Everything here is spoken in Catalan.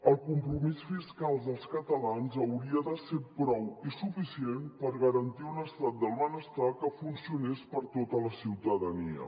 el compromís fiscal dels catalans hauria de ser prou i suficient per garantir un estat del benestar que funcionés per a tota la ciutadania